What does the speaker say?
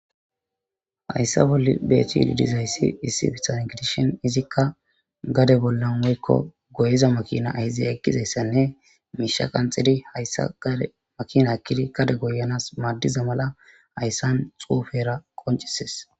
hayssa bolli beetchiilidizhayssi issi bitann gedishen izikka gade bollan woykko goyiza makina ahize eqgizayssanne miisha qanxidi hayssa gade makina akkidi gade goyanas maaddiza mala hayssan xuufera qoncises